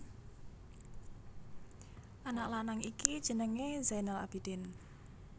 Anak lanang iki jenengé Zainal Abidin